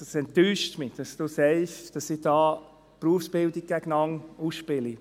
Es enttäuscht mich, dass Sie sagen, dass ich da die Berufsbildung gegeneinander ausspiele.